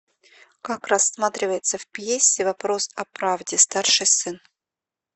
как рассматривается в пьесе вопрос о правде старший сын